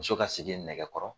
Muso ka segin nɛgɛ kɔrɔ